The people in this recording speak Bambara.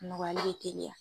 Nɔgɔyali bɛ tɛliya.